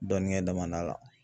Dɔnni kɛ dama da la.